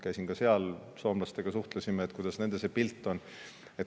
Käisin ka seal, suhtlesime soomlastega, et kuidas nendel see pilt on.